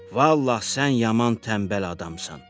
Vallah sən yaman tənbəl adamsan!”